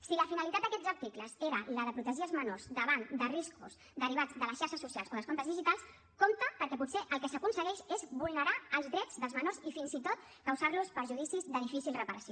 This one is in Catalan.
si la finalitat d’aquests articles era la de protegir els menors davant de riscos derivats de les xarxes socials o dels comptes digitals compte perquè potser el que s’aconsegueix és vulnerar els drets dels menors i fins i tot causar los perjudicis de difícil reparació